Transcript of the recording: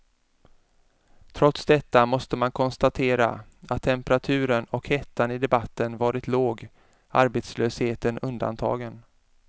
Trots detta måste man konstatera att temperaturen och hettan i debatten varit låg, arbetslösheten undantagen.